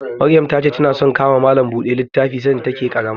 Maryam ta ce ta na son ka ma malam buɗe littafi sanda ta ke ƙarama